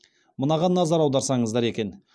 мынаған назар аударсаңыздар екен